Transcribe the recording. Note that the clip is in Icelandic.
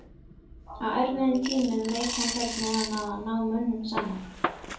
Á erfiðum tímum veit hann hvernig hann á að ná mönnum saman.